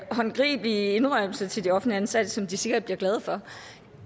håndgribelig indrømmelse til de offentligt ansatte som de sikkert bliver glade for